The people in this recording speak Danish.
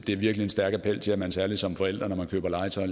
har virkelig en stærk appel til at man særlig som forældre når man køber legetøj